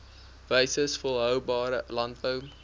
wyses volhoubare landbou